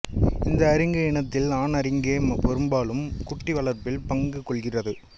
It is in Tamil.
இந்த அரிங்கு இனத்தில் ஆண் அரிங்கே பெரும்பாலும் குட்டி வளர்ப்பில் பங்குகொள்கின்றது